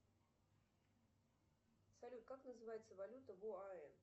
салют как называется валюта в оаэ